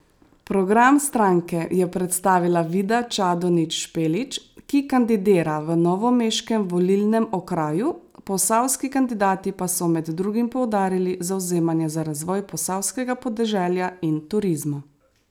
Program stranke je predstavila Vida Čadonič Špelič, ki kandidira v novomeškem volilnem okraju, posavski kandidati pa so med drugim poudarili zavzemanje za razvoj posavskega podeželja in turizma.